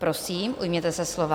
Prosím, ujměte se slova.